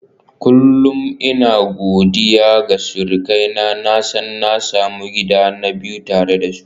Kullum ina godiya ga surukaina, na san na sami gida na biyu tare da su.